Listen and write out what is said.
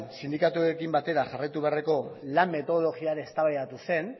sindikatuekin batera jarraitu beharreko lan metodologia ere eztabaidatu zen